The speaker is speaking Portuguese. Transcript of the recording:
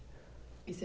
E você